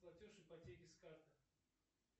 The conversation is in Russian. платеж ипотеки с карты